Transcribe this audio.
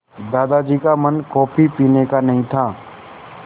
दादाजी का मन कॉफ़ी पीने का नहीं था